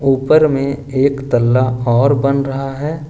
ऊपर में एक तल्ला और बन रहा है ।